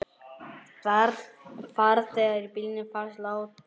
Farþegi í bílnum fannst látinn.